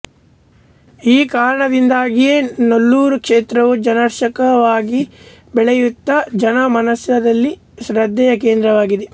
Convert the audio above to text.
ಈ ಕಾರಣದಿಂದಾಗಿಯೇ ನಲ್ಲೂರು ಕ್ಷೇತ್ರವು ಜನಾಕರ್ಷಕವಾಗಿ ಬೆಳೆಯುತ್ತಾ ಜನಮಾನಸದಲ್ಲಿ ಶ್ರದ್ಧೆಯ ಕೇಂದ್ರವಾಗಿದೆ